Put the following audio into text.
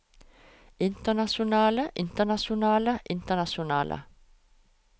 internasjonale internasjonale internasjonale